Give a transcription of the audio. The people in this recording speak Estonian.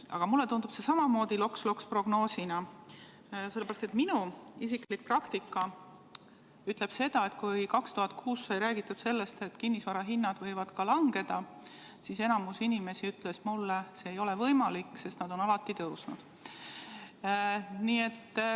Aga mulle tundub see samamoodi loks-loks-prognoosina, sellepärast et minu isiklik praktika ütleb seda, et kui 2006 sai räägitud sellest, et kinnisvarahinnad võivad ka langeda, siis enamik inimesi ütles mulle, see ei ole võimalik, sest need on alati tõusnud.